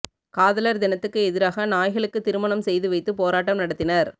காதலர் தினத்துக்கு எதிராக நாய்களுக்கு திருமணம் செய்து வைத்து போராட்டம் நடத்தினர்